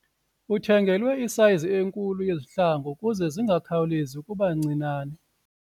Uthengelwe isayizi enkulu yezihlangu ukuze zingakhawulezi ukuba ncinane.